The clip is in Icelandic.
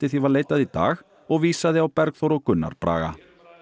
því var leitað í dag og vísaði á Bergþór og Gunnar Braga